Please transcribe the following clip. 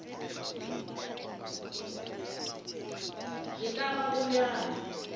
e ka ba go bjalo